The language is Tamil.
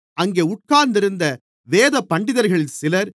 அங்கே உட்கார்ந்திருந்த வேதபண்டிதர்களில் சிலர்